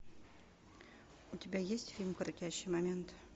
у тебя есть фильм крутящий момент